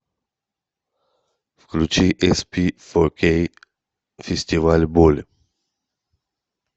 включи эспифокей фестиваль боль